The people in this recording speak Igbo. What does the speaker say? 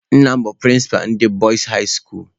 Nna m bụ prịnsịpa ndị Bọịs hai skuulu.